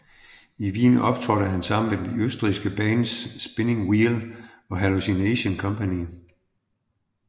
I Wien optrådte han sammen med de østrigske bands Spinning Whell og Hallucination Company